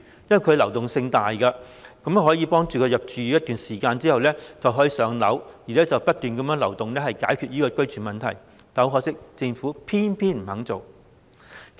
由於市民會在入住一段時間後"上樓"，流動性很大，因此可透過不斷流轉去解決居住問題，可惜政府偏偏不肯做。